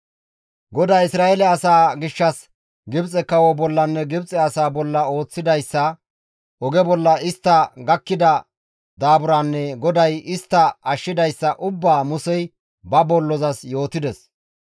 GODAY Isra7eele asaa gishshas Gibxe kawo bollanne Gibxe asaa bolla ooththidayssa, oge bolla istta gakkida daaburanne GODAY istta ashshidayssa ubbaa Musey ba bollozas yootides.